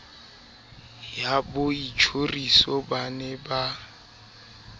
ya boitjhoriso ba ne ba